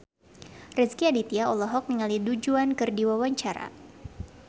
Rezky Aditya olohok ningali Du Juan keur diwawancara